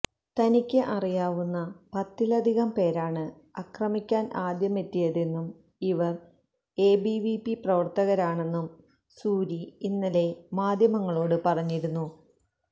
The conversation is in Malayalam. തനിക്ക് അറിയാവുന്ന പത്തിലധികം പേരാണ് ആക്രമിക്കാന് ആദ്യമെത്തിയതെന്നും ഇവര് എബിവിപി പ്രവര്ത്തകരാണെന്നും സൂരി ഇന്നലെ മാധ്യമങ്ങളോട് പറഞ്ഞിരുന്നു